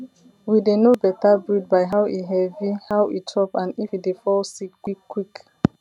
we dey know better breed by how e heavy how e chop and if e dey fall sick quick quick